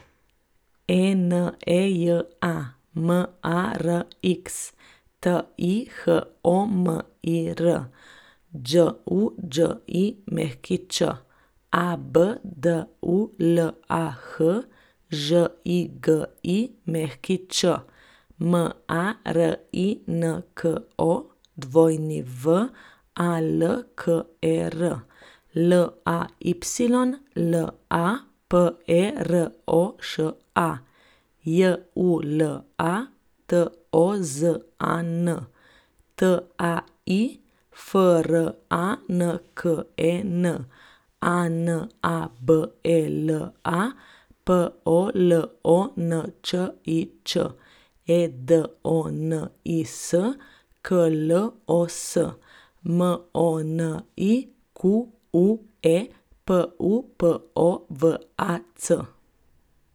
Eneja Marx, Tihomir Đuđić, Abdulah Žigić, Marinko Walker, Layla Peroša, Jula Tozan, Tai Franken, Anabela Polončič, Edonis Klos, Monique Pupovac.